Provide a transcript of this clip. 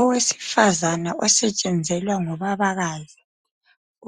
Owesifazana osetshenzelwa ngubabakazi